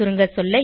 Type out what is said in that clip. சுருங்கசொல்ல